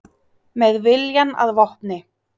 Með viljann að vopni